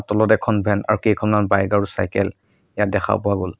তলত এখন ভেন আৰু কেইখনমান বাইক আৰু চাইকেল ইয়াত দেখা পোৱা গ'ল।